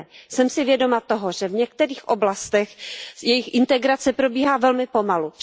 Jsem si vědoma toho, že v některých oblastech jejich integrace probíhá velmi pomalu.